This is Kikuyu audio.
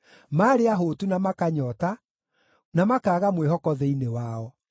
Maarĩ ahũtu na makanyoota, na makaaga mwĩhoko thĩinĩ wao.